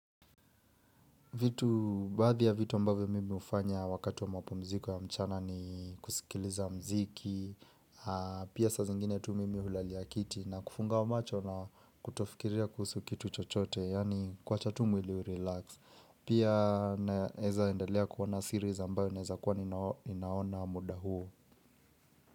Vitu, baadhi ya vitu ambavyo mimi hufanya wakati wa mapumziko ya mchana ni kusikiliza muziki, pia sa zingine tu mimi hulalia kiti na kufunga macho na kutofikiria kuhusu kitu chochote, yaani kuacha tu mwili ulirelax. Pia naeza endelea kuona series ambayo naweza kuwa ni naona muda huo.